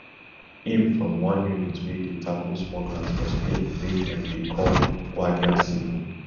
im from one unit wey dey tackle smugglers for spain wey dem dey call guardia civil